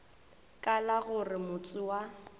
ka la gore motse wa